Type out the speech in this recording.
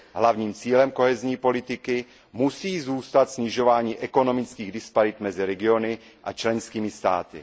Hlavním cílem politiky soudržnosti musí zůstat snižování ekonomických disparit mezi regiony a členskými státy.